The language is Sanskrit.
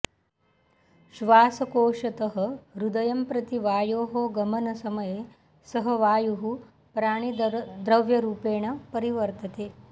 श्वासकोषतः हृदयं प्रति वायोः गमनसमये सः वायुः प्राणिद्रव्यरूपेण परिवर्तते